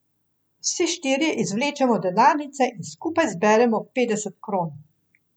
Vsi štirje izvlečemo denarnice in skupaj zberemo petdeset kron.